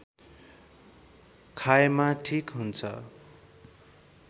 खाएमा ठीक हुन्छ